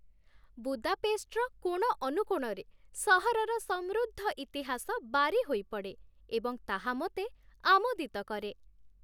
ବୁଦାପେଷ୍ଟର କୋଣ ଅନୁକୋଣରେ ସହରର ସମୃଦ୍ଧ ଇତିହାସ ବାରି ହୋଇପଡ଼େ, ଏବଂ ତାହା ମୋତେ ଆମୋଦିତ କରେ।